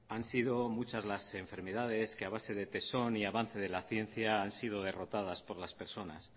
han sido muchas las enfermedades que a base de tesón y avance de la ciencia han sido derrotadas por las personas